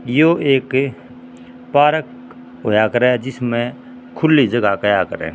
यो एक पार्क होया करह जिसम्ह खुली जगां कहया करह।